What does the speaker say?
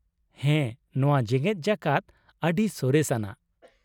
ᱦᱮᱸ , ᱱᱚᱶᱟ ᱡᱮᱜᱮᱫ ᱡᱟᱠᱟᱛ ᱟᱹᱰᱤ ᱥᱚᱨᱮᱥ ᱟᱱᱟᱜ ᱾